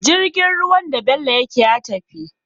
Jirgin ruwan da bello yake ya tafi